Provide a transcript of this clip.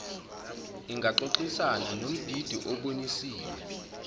ingaxoxisana nombhidi obonisiwe